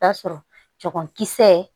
Taa sɔrɔ cɛmankisɛ